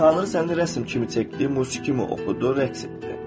Tanrı səni rəsm kimi çəkdi, musiqi kimi oxudu, rəqs etdi.